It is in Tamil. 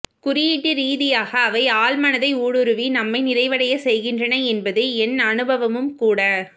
குறியீட்டு ரீதியாக அவை ஆழ்மனதை ஊடுருவி நம்மை நிறைவடையச்செய்கின்றன என்பது என் அனுபவமும்கூட